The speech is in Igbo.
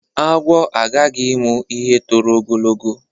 Agwọ agaghị ịmụ ihe toro ogologo.